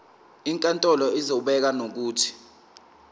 inkantolo izobeka nokuthi